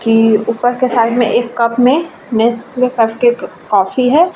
की ऊपर के साइड में एक कप में नेस्ले कप का एक कॉफ़ी है।